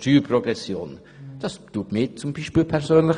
Das belastet zum Beispiel mich persönlich.